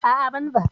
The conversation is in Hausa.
A'a, ban ba.